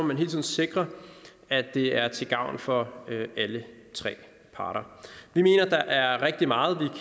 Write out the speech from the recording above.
man hele tiden sikre at det er til gavn for alle tre parter vi mener at der er rigtig meget